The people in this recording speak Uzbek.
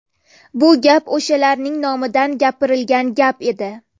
Bu gap, o‘shalarning nomidan gapirilgan gap edi.